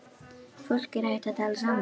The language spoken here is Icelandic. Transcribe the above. Fólk er hætt að tala saman.